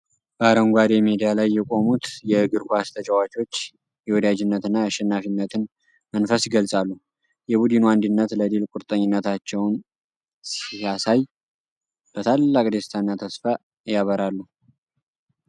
በአረንጓዴ ሜዳ ላይ የቆሙት የእግር ኳስ ተጫዋቾች የወዳጅነትና የአሸናፊነትን መንፈስ ይገልጻሉ። የቡድኑ አንድነት ለድል ቁርጠኝነታቸውን ሲያሳይ፣ በታላቅ ደስታና ተስፋ ያበራሉ።